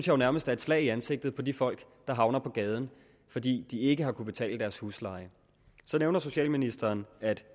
jo nærmest er et slag i ansigtet på de folk der havner på gaden fordi de ikke har kunnet betale deres husleje så nævner socialministeren at